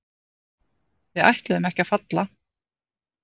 Við ætluðum ekki að falla